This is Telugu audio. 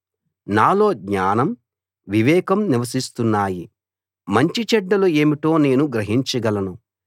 నాలో జ్ఞానం వివేకం నివసిస్తున్నాయి మంచి చెడ్డలు ఏమిటో నేను గ్రహించగలను